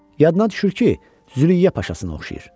Yadına düşür ki, Züleyya paşasına oxşayır.